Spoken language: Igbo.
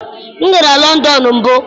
M gara Lọndọn mbụ.